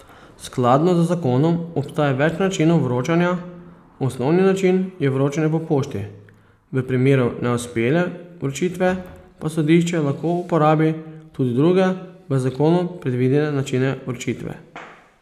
Skladno z zakonom obstaja več načinov vročanja, osnovni način je vročanje po pošti, v primeru neuspele vročitve pa sodišče lahko uporabi tudi druge v zakonu predvidene načine vročitve.